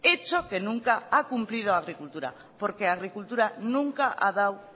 hecho que nunca ha cumplido agricultura porque agricultura nunca ha dado